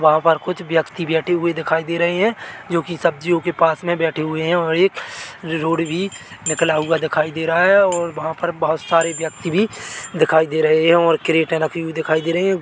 वहाँ पर कुछ व्यक्ति बैठे हुए दिखाई दे रहे हैं जो की सब्जियों के पास में बैठे हुए हैं और एक रोड भी निकला हुआ दिखाई दे रहा है और वहाँ पर बहुत सारे व्यक्ति भी दिखाई दे रहे हैं और क्रिरेटे रखी हुई दिखाई दे रही है।